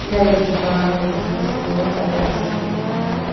यह एक दुकान है जिस में से बहुत सारी राशन की दुकान है।